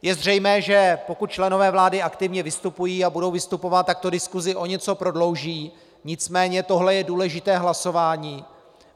Je zřejmé, že pokud členové vlády aktivně vystupují a budou vystupovat, tak to diskusi o něco prodlouží, nicméně toto je důležité hlasování.